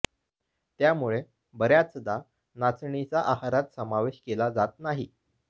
त्यामुळे बऱ्याचदा नाचणीचा आहारात समावेश केला जात नाही